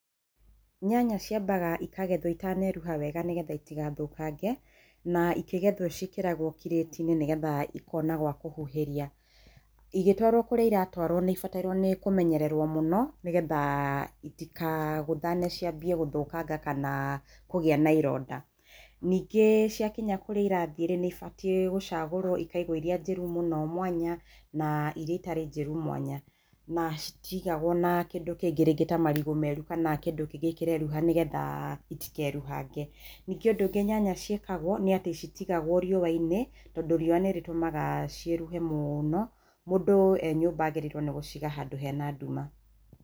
Nyanya ciambaga ĩkagethwo ĩtaneruha wega nĩgetha itigathũkange, na ĩkĩgethwo ciĩkĩragwo kiratĩ-inĩ nĩgetha ĩkona gwa kũhuhĩria. Ĩgĩtwarwo kũrĩa ĩratwarwo nĩĩbatairwo nĩ kũmenyererwo mũno, nĩgetha ĩtikagũthane ciambie gũthũkanga kana kũgĩa na ĩronda. Ningĩ ciakinya kũrĩa ĩrathiĩ-rĩ nĩ ĩbatiĩ gũcagũrwo ĩkaigwo ĩria njĩru mũno mwanya, na ĩria ĩtarĩ njĩru mwanya. Na citigagwo na kĩndũ kĩngĩ rĩngĩ ta marigũ meru kana kĩndũ kĩngĩ kĩreruha nĩgetha itikeruhange. Ningĩ ũndũ ũngĩ nyanya ciakagwo nĩ atĩ citigagwo riũwa-inĩ, tondũ riũwa nĩrĩtũmaga cĩiruhe mũno. Mũndũ e nyumba agĩrĩirwo nĩ gũciga handũ hena nduma.